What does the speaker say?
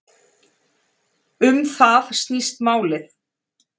Um það snýst málið